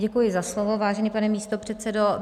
Děkuji za slovo, vážený pane místopředsedo.